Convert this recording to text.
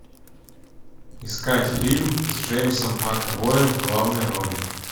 искать фильм с джеймсом макэвоем в главной роли